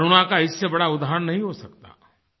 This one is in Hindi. करुणा का इससे बड़ा उदाहरण नहीं हो सकता